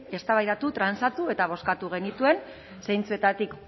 eztabaidatu eta bozkatu genituen zeintzuetatik